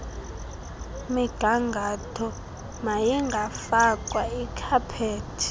migangatho mayingafakwa ikhaphethi